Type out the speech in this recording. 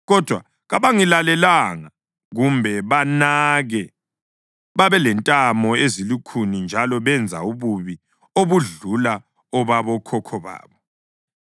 Kodwa kabangilalelanga kumbe banake. Babelentamo ezilukhuni njalo benza ububi obudlula obabokhokho babo.’